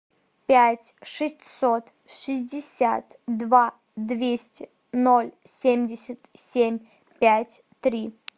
пять шестьсот шестьдесят два двести ноль семьдесят семь пять три